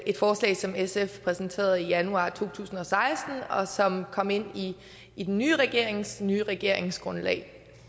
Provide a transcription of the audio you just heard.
et forslag som sf præsenterede i januar to tusind og seksten og som kom ind i den nye regerings nye regeringsgrundlag